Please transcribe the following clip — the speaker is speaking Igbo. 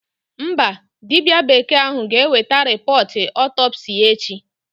Mba, dibịa bekee ahụ ga-eweta rịpọọt ọtọpsii ya echi.